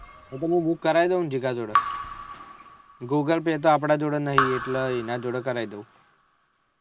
એ તો હું book કરી લઉં ને જીગા જોડે google pay તો આપળે જોડે નહી એટલે એના જોડે કરાઈ દઉં